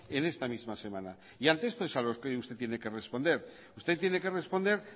en esta misma semana y ante esto es a lo que usted tiene que responder usted tiene que responder